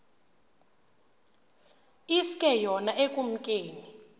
iske yona ekumkeni